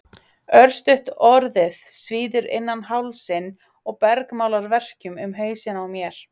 Örstutt orðið svíður innan hálsinn og bergmálar verkjum um hausinn á mér.